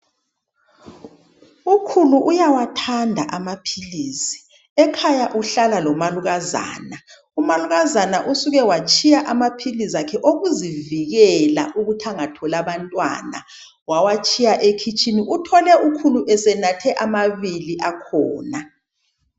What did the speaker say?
Ukhulu uyawathanda amaphilisi. Ekhaya uhlala lomalukazana. Umalukazana usuke watshiya amaphilisi akhe okuzivikela ukuthi angatholi abantwana. Wawatshiya ekhitshini, uthole ukhulu esenathe amabili akhona.